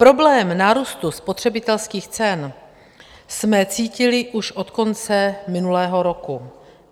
Problém nárůstu spotřebitelských cen jsme cítili už od konce minulého roku.